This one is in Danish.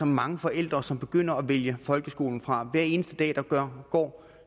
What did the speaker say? mange forældre som begynder at vælge folkeskolen fra hver eneste dag der går